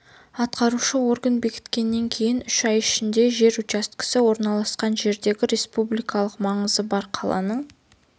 атқарушы орган бекіткеннен кейін үш ай ішінде жер учаскесі орналасқан жердегі республикалық маңызы бар қаланың